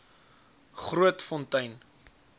grootfontein